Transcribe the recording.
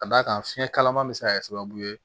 Ka d'a kan fiɲɛ kalaman bɛ se ka kɛ sababu ye